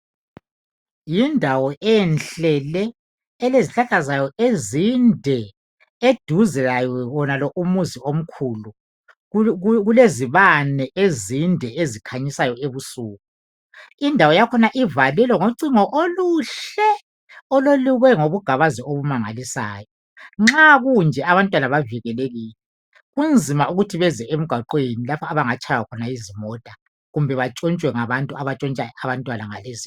Yindawo enhle le elezihlahla zayo ezinde eduze lakho kulomuzi omkhulu kulezibane ezikhanyisayo ebusuku indawo yakhona ivalelwe ngocingo oluhle olelukwe ngobugabazi obumangalisayo nxa kunje abantwana bavikelekile. Kunzima ukuthi beze emgwaqwni lapho abangatshaywa khona yizimota kumbe bantshontshwe ngabantu abantshontshayo abantwana ngalezi izikhathi